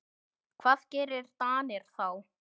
Hvað gera Danir þá?